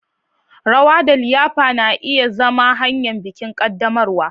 Rawa da liyafa na iya zama hanyar bikin ƙaddamarwa.